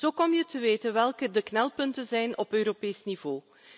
Zo kom je te weten welke de knelpunten zijn op Europees niveau.